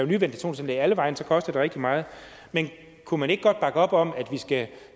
ventilationsanlæg alle vegne så koster det rigtig meget men kunne man ikke godt bakke op om at vi skal